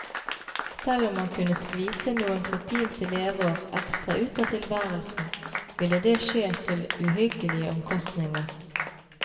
Selv om man kunne skvise noen forpinte leveår ekstra ut av tilværelsen, ville det skje til uhyggelige omkostninger.